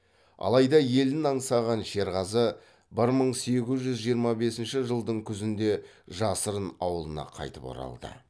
алайда елін аңсаған шерғазы бір мың сегіз жүз жиырма бесінші жылдың күзінде жасырын ауылына қайтып оралды